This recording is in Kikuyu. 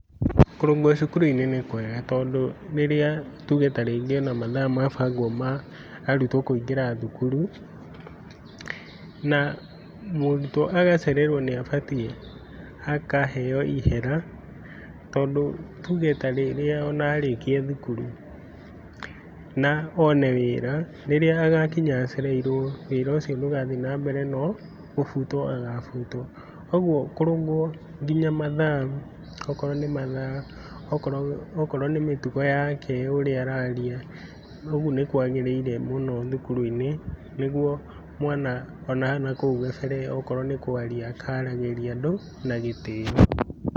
Kũrũngwo cukuru-inĩ nĩ kwega, tondũ rĩrĩa tuge ta rĩngĩ ona mathaa mabangwo ma arutwo kũingĩra thukuru, na mũrutwo agacererwo nĩabatiĩ akaheo ihera, tondũ tuge ta rĩrĩa arĩkia thukuru na one wĩra, rĩrĩa agakinya acereirwo, wĩra ũcio ndagathiĩ nambere nogũbutwo agabutwo. Kuoguo kũrũngwo kinya mathaa, okorwo nĩ mathaa, okorwo okorwo nĩ mĩtugo yake ũrĩa araria, ũguo nĩkwagĩrĩire mũno thukuru-inĩ nĩguo mwana onakũu gabere onakorwo nĩ kwaria akaragĩria andũ na gĩtĩo.